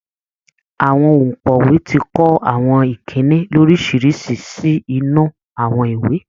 Àwọn òǹkọ̀wé ti kọ àwọn ìkínni lóriṣìíríṣìí sí inú àwọn ìwé